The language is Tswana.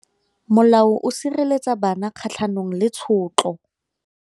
Molao o sireletsa bana kgatlhanong le tshotlo.